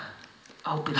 ábyrgðin